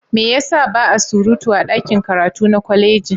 Me ya sa ba a surutu a ɗakin karatu na kwaleji?